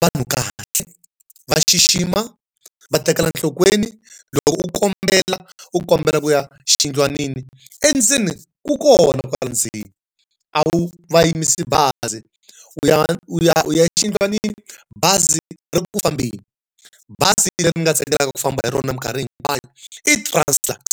vanhu kahle. Va xixima, va tekela nhlokweni. Loko u kombela, u kombela ku ya xiyindlwanini endzeni ku kona kwala ndzeni. A wu va yimisi bazi, u ya u ya u ya exiyindlwanini, bazi ri ri ku fambeni. Bazi leri ni nga tsakelaka ku famba hi rona minkarhi hi hinkwayo i Translux.